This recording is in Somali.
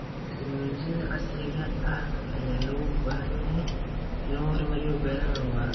Tiknoolajiyadda casriga ah ayaa loo baahan yahay si loo horumariyo beeraha waara.